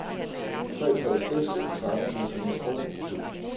tre tre seks en tretten seks hundrede og syv